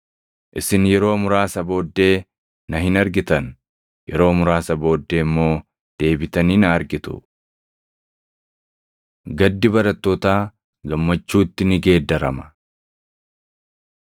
“Isin yeroo muraasa booddee na hin argitan; yeroo muraasa booddee immoo deebitanii na argitu.” Gaddi Barattootaa Gammachuutti Ni Geeddarama